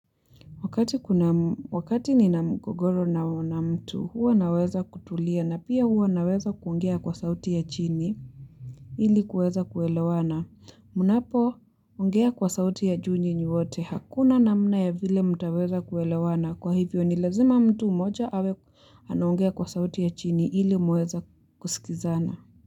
Wakati nina mgogoro na mtu, huwa naweza kutulia na pia huwa naweza kuongea kwa sauti ya chini ili kuweza kuelewana. Munapo, ungea kwa sauti ya juu nyinyi wote, hakuna namna ya vile mtaweza kuelewana. Kwa hivyo ni lazima mtu moja awe anongea kwa sauti ya chini ili muweze kusikizana.